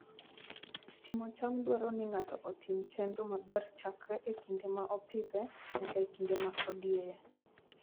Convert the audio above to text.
Timo cham dwaro ni ng'ato otim chenro maber chakre e kinde ma opidhe nyaka e kinde ma odieye.